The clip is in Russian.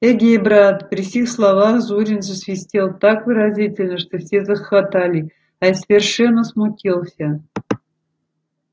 эге брат при сих словах зурин засвистел так выразительно что все захохотали а я совершенно смутился